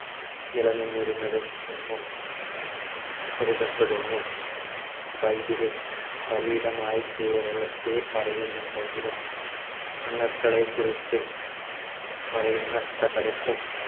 നിലനിന്നിരുന്നത് എന്നും കരുതപ്പെടുന്നു. ബൈബിളിൽ പലയിടമായി കേരളത്തെ പറയുന്നുണ്ടെങ്കിലും കുറിച്ച് പറയുന്ന സ്ഥലത്തും